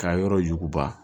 Ka yɔrɔ yuguba